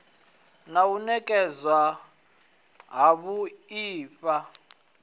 na u nekedzwa havhui ha